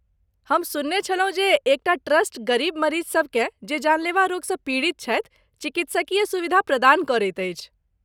हम सुनने छलहुँ जे एक टा ट्रस्ट गरीब मरीजसभकेँ जे जानलेवा रोगसँ पीड़ित छथि चिकित्सकीय सुविधा प्रदान करैत अछि।